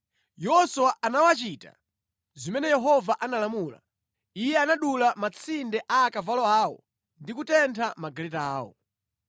Yoswa anawachita zimene Yehova analamula. Iye anadula matsinde a akavalo awo ndi kutentha magaleta awo.